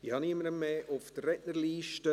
Ich habe niemanden mehr auf der Rednerliste.